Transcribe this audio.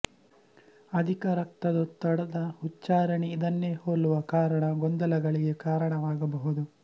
ಅಧಿಕ ರಕ್ತದೊತ್ತಡ ದ ಉಚ್ಚಾರಣೆ ಇದನ್ನೇ ಹೋಲುವ ಕಾರಣ ಗೊಂದಲಗಳಿಗೆ ಕಾರಣವಾಗಬಹುದು